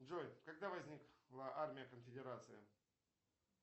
джой когда возникла армия конфедерации